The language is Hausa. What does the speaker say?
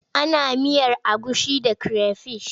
Ana miyar agushi da creyfish.